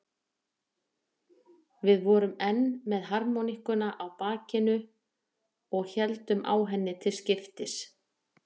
Við vorum enn með harmóníkuna á bakinu og héldum á henni til skiptis.